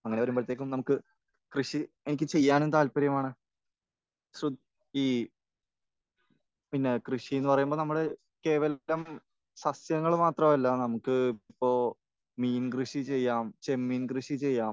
അങ്ങനെ വരുമ്പോഴത്തേക്കും നമുക്ക് കൃഷി എനിക്ക് ചെയ്യാൻ താല്പര്യമാണ്. സു...ഈ പിന്നെ കൃഷിയെന്ന് പറയുമ്പോൾ നമ്മൾ കേവലം സസ്യങ്ങൾ മാത്രമല്ല. നമുക്ക് ഇപ്പോൾ മീൻ കൃഷി ചെയ്യാം, ചെമ്മീൻ കൃഷി ചെയ്യാം.